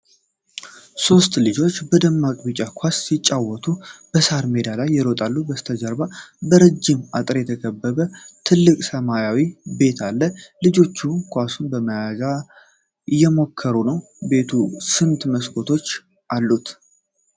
ሦስት ልጆች በደማቅ ቢጫ ኳስ ሲጫወቱ በሣር ሜዳ ላይ ይሮጣሉ። ከበስተጀርባ በረጅም አጥር የተከበበ ትልቅ ሰማያዊ ቤት አለ። ልጆቹ ኳሱን ለመያዝ እየሞከሩ ነው? ቤቱ ስንት መስኮቶች አሉት?